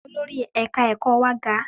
Olórí ẹ̀ka ẹ̀kọ́ wa ga.